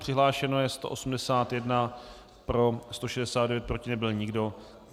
Přihlášeno je 181, pro 169, proti nebyl nikdo.